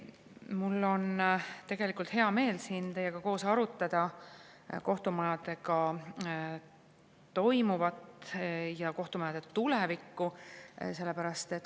Mul on tegelikult hea meel siin teiega koos arutada kohtumajadega toimuvat ja kohtumajade tulevikku.